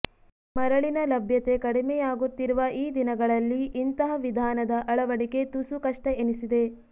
ಮರಳಿನ ಲಭ್ಯತೆ ಕಡಿಮೆ ಆಗುತ್ತಿರುವ ಈ ದಿನಗಳಲ್ಲಿ ಇಂತಹ ವಿಧಾನದ ಅಳವಡಿಕೆ ತುಸು ಕಷ್ಟ ಎನಿಸಿದೆ